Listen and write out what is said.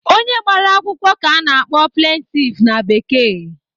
Onye gbara akwụkwọ ka a na-akpọ "plaintiff" na Bekee.